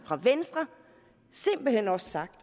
fra venstre simpelt hen også sagt